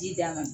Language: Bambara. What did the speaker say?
Ji danna